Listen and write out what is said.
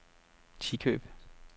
Tikøb